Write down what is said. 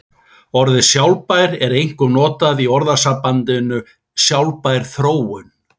Orðið sjálfbær er einkum notað í orðasambandinu sjálfbær þróun.